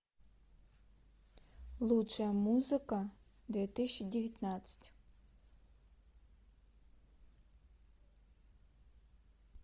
лучшая музыка две тысячи девятнадцать